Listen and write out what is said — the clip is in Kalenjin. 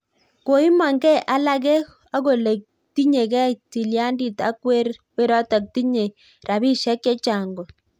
Koimang gei alakee akole tinyegei tilyandit ak werotok tinyei rapisiek chechang kot